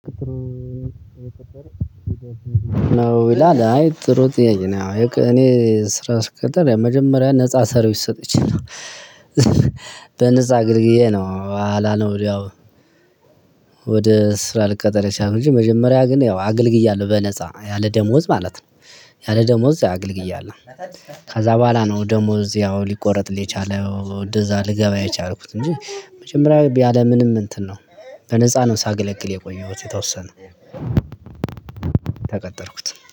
ነው ይላል አይ ጥሩ ጥያቄ ነው እኔ ስራ ስቀጠር ያው መጀመሪያ ነፃ ሰርቪስ ሰጥቼ ነው በነፃ አገልግዬ ነው በኃላ ነው። ወደ ስራ ልቀጠር የቻለው፤ እንጂ መጀመሪያ ግን ያው አገልግያለሁ፤ በነፃ ያለ ደሞዝ ማለት ነው። ያለ ደሞዝ አገልግያለሁ። ከዛ በኋላ ነው ደሞዝ ያው ሊቆረጥልኝ የቻለው እንደዛ ልገባ የቻልኩት እንጂ መጀመሪያ ያለምንም እንትን ነው። በነፃ ነው ሳገለግል የቆየሁት የተወሰነ ተቀጠርኩት